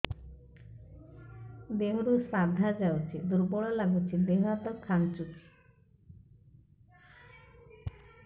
ଦେହରୁ ସାଧା ଯାଉଚି ଦୁର୍ବଳ ଲାଗୁଚି ଦେହ ହାତ ଖାନ୍ଚୁଚି